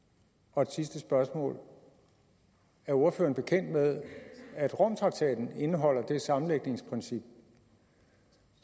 og et sidste spørgsmål er ordføreren bekendt med at romtraktaten indeholder det sammenlægningsprincip